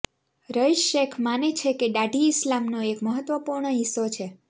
રઈસ શેખ માને છે કે દાઢી ઈસ્લામનો એક મહત્વપૂર્ણ હિસ્સો છે